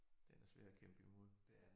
Den er svær at kæmpe imod